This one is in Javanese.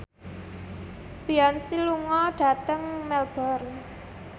Beyonce lunga dhateng Melbourne